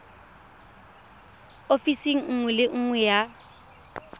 ofising nngwe le nngwe ya